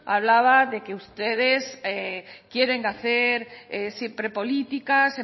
hablaba de que ustedes quieren hacer siempre políticas